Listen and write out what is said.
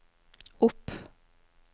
opp